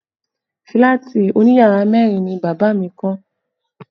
Fílàtì òní yàrá mẹ́rin ni bàbá mi kọ́